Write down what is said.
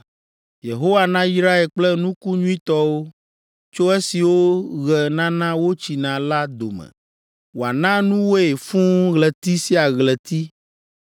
Yehowa nayrae kple nuku nyuitɔwo tso esiwo ɣe nana wotsina la dome wòana nuwoe fũu ɣleti sia ɣleti